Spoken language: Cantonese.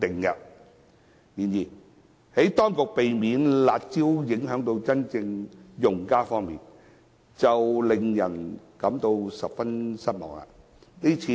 然而，在避免"辣招"影響真正用家方面，當局的做法令人感到十分失望。